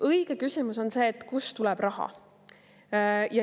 Õige küsimus on see, et kust tuleb raha.